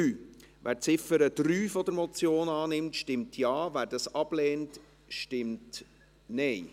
Wer die Ziffer 3 der Motion annimmt, stimmt Ja, wer diese ablehnt, stimmt Nein.